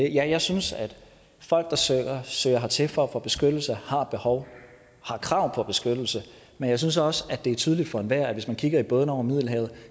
ja jeg synes at folk der søger søger hertil for at få beskyttelse og har et behov har krav på beskyttelse men jeg synes også at det er tydeligt for enhver der kigger i bådene over middelhavet at